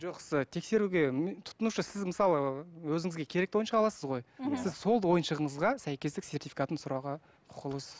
жоқ сіз тексеруге тұтынушы сіз мысалы өзіңізге керекті ойыншық аласыз ғой мхм сіз сол ойыншығыңызға сәйкестік сертификатын сұрауға құқылысыз